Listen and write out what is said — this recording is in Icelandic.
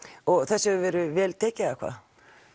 og þessu hefur verið vel tekið eða hvað